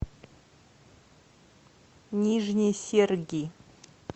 нижние серги